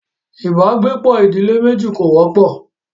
ibàgbepọ̀ ìdílé méjì kò wọ́pọ̀.